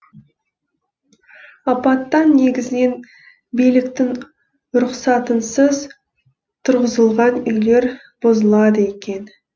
апаттан негізінен биліктің рұқсатынсыз тұрғызылған үйлер бұзылады екен